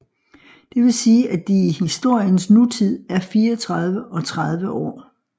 Det vil sige at de i historiens nutid er 34 og 30 år